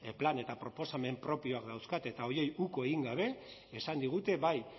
plan eta proposamen propioak dauzkate eta horiei uko egin gabe esan digute bai